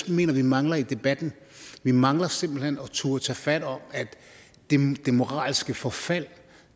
mener at vi mangler i debatten vi mangler simpelt hen at turde tage fat om det moralske forfald